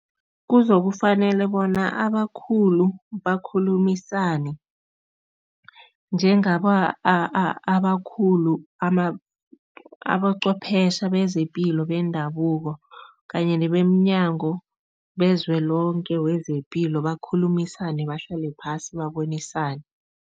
Kuzokufanele bona abakhulu bakhulumisane, njengaba abakhulu aboqhwepheshe bezepilo bendabuko kanye nebemNyango bezwe lonke wezePilo bakhulumisane, bahlale phasi, babonisane.